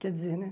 Quer dizer, né?